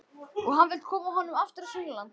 Og hann vill koma honum aftur á sunnanlands.